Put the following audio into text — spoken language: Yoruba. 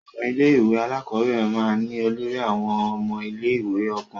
Àwọn ilé-ìwé alákọ̀ọ́bẹ̀rẹ̀ máa ń ní olórí àwọn ọmọ ilé-ìwé ọkùnrin.